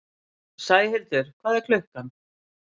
Sæhildur, hvað er klukkan?